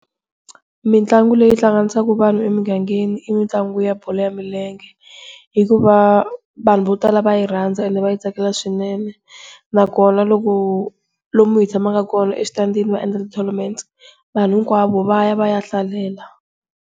Mitlangu leyi hlanganisa vanhu emugangeni i mitlangu ya bolo ya milenge, hikuva vanhu vo tala va yi rhandza and va yi tsakela swinene. Nakona loko lomu hi tshamaka kona eswitandini vo endla ti-tornament vanhu hinkwavo va ya va ya hlalela.